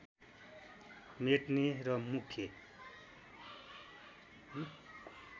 मेट्ने र मुख्य